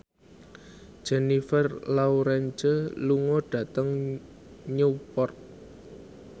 Jennifer Lawrence lunga dhateng Newport